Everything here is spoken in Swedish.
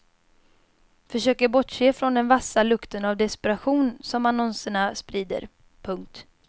Försöker bortse från den vassa lukten av desperation som annonserna sprider. punkt